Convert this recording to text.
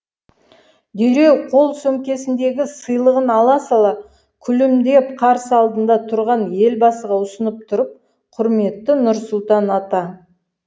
дереу қол сөмкесіндегі сыйлығын ала сала күлімдеп қарсы алдында тұрған елбасыға ұсынып тұрып құрметті нұрсұлтан ата